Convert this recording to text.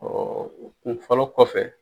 kun fɔlɔ kɔfɛ.